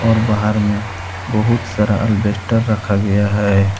और बाहर में बहुत सारा अल्वेस्टर रखा गया है।